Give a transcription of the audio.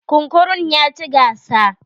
Kunkurun ya ci gasa.